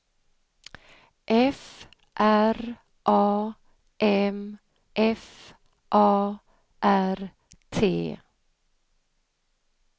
F R A M F A R T